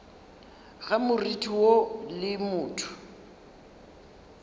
ga moriti woo le motho